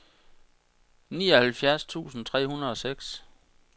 nioghalvfjerds tusind tre hundrede og seks